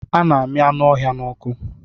A na-ami anu ọhịa n'ọkụ